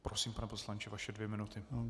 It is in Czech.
Prosím, pane poslanče, vaše dvě minuty.